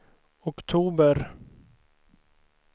oktober